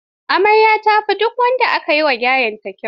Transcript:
Amaryar ta fi duk wanda aka gayyata kyau.